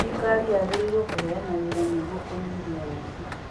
Thirikari yagĩrirwo kũheana wĩra nĩguo kũnyihia ũici.